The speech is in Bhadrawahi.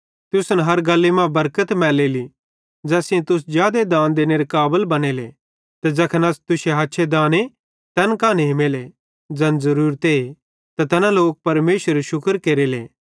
तुसन हर गल्ली मां बरकत मैलेली ज़ैस सेइं तुस जादे दान देनेरे काबल बनेले ते ज़ैखन अस तुश्शे हछ्छे दाने तैन कां नेमेले ज़ैन ज़रूरते त तैना लोक परमेशरेरू शुक्र केरेले